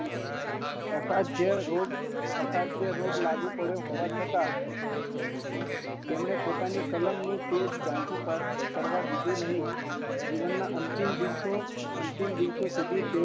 અસાધ્ય રોગ લાગુ પડ્યો હોવા છતાં તેમને પોતાની કલમ નું તેજ જાણવી રાખીયું